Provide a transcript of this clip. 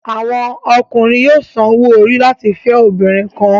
Àwọn Ọkùnrin yóò sàn òwò-ori láti fẹ obìnrin kàn